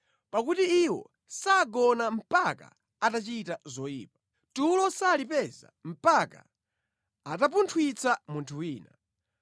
Pakuti iwo sagona mpaka atachita zoyipa; tulo salipeza mpaka atapunthwitsa munthu wina.